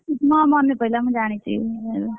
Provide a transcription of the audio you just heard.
ହଁ ମନେପଇଲା ମୁଁ ଜାଣିଛି।